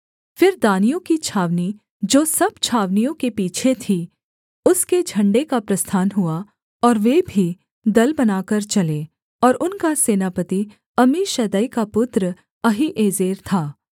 फिर दानियों की छावनी जो सब छावनियों के पीछे थी उसके झण्डे का प्रस्थान हुआ और वे भी दल बनाकर चले और उनका सेनापति अम्मीशद्दै का पुत्र अहीएजेर था